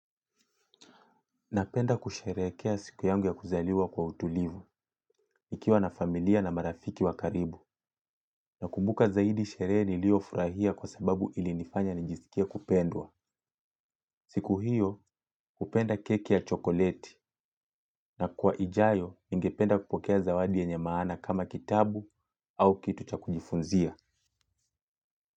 Napenda kusherekea siku yangu ya kuzaliwa kwa utulivu, nikiwa na familia na marafiki wakaribu, na kumbuka zaidi sherehe nilio furahia kwa sababu ili nifanya nijisikie kupendwa. Siku hiyo hupenda keki ya chokoleti na kwa ijayo ningependa kupokea zawadi yenye maana kama kitabu au kitu cha kufunzia.